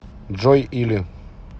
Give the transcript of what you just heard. джой или